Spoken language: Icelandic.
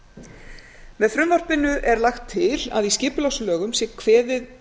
leyfisumsókna með frumvarpinu er lagt til að í skipulagslögum sé kveðið